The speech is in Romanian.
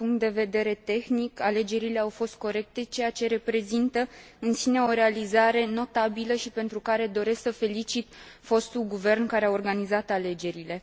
din punct de vedere tehnic, alegerile au fost corecte, ceea ce reprezintă în sine o realizare notabilă și pentru care doresc să felicit fostul guvern care a organizat alegerile.